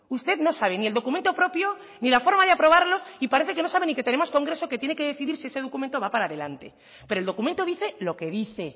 usted no sabe ni el documento propio ni la forma de aprobarlos y parece que no sabe ni que tenemos congreso que tiene que decidir si ese documento va para adelante pero el documento dice lo que dice